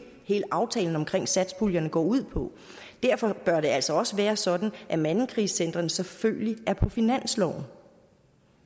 hele aftalen omkring satspuljen går ud på derfor bør det altså også være sådan at mandekrisecentrene selvfølgelig er på finansloven